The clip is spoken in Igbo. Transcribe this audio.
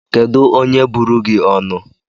Kedu onye buru gi onu?